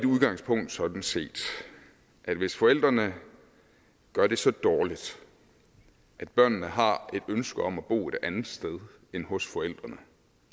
udgangspunkt sådan set at hvis forældrene gør det så dårligt at børnene har et ønske om at bo et andet sted end hos forældrene